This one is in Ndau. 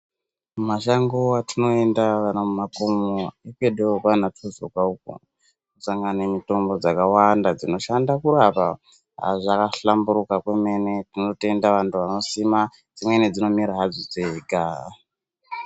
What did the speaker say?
Mumashango atinoenda kana mumakomo ekwedu kwaTsunzuka ukoo unosangana nemitombo dzakawanda dzinoshanda kurapa zvakahlamburuka zvemene tinotenda antu anosima dzimweni dzinomera hadzo dzega.